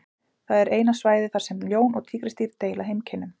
það er eina svæðið þar sem ljón og tígrisdýr deila heimkynnum